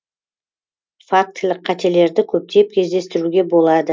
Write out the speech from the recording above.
фактілік қателерді көптеп кездестіруге болады